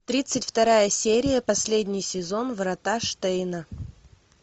тридцать вторая серия последний сезон врата штейна